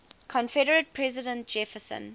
confederate president jefferson